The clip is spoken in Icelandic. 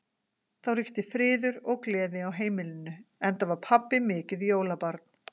Þá ríkti friður og gleði á heimilinu, enda var pabbi mikið jólabarn.